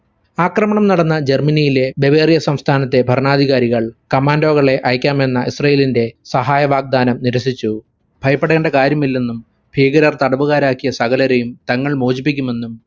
ആക്രമണം നടന്ന ജർമനിയിലെ ടെവേരിയോ സംസ്ഥാനത്തെ ഭരണാധികാരികൾ commando കളെ അയക്കാമെന്ന israel ഇന്റെ സഹായവാഗതങ്ങൾ നിരസിച്ചു. ഭയപ്പെടേണ്ട കാര്യമില്ലെന്നും ഭീകരർ തടവുകാരാക്കിയ സകലരെയും തങ്ങൾ മോചിപ്പിക്കുമെന്നും